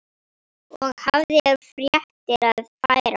Og hafði fréttir að færa.